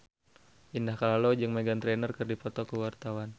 Indah Kalalo jeung Meghan Trainor keur dipoto ku wartawan